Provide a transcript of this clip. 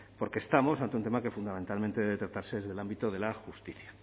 porque estamos ante un tema que fundamentalmente debe tratarse desde el ámbito de la justicia